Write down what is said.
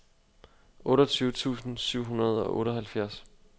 otteogtyve tusind syv hundrede og otteoghalvfjerds